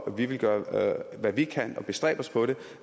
og vi vil gøre hvad vi kan og bestræbe os på